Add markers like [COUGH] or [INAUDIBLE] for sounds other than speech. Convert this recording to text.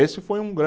Esse foi um [UNINTELLIGIBLE]